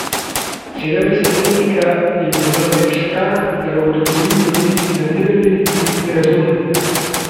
Sedemdesetletnika je bilo namreč strah, da ga bodo tuji turisti nadirali, ker jih ne razume.